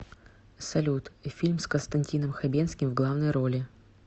салют фильм с константином хабенским в главной роли